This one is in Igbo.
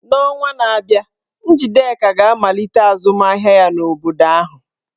N'ọnwa na-abịa, Njideka ga-amalite azụmahịa ya n'obodo ahụ.